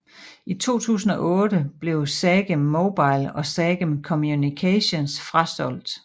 I 2008 blev Sagem Mobile og Sagem Communications frasolgt